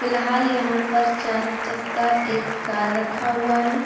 पिलहाल यहाँ पर चार चक्का एक कार रखा हुआ है।